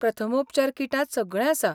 प्रथमोपचार किटांत सगळें आसा.